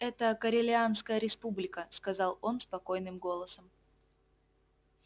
это корелианская республика сказал он спокойным голосом